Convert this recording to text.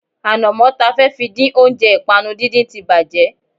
Ànàmó ta fẹ́ fi dín oúnjẹ ìpànu díndín tí bàjé